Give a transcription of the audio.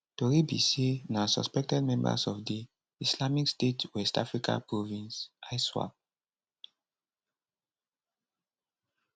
tori be say na suspected members of di islamic state west africa province iswap